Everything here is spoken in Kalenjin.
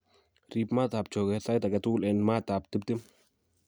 Riip maatab chogeet sait age tugul en maatab 20�c.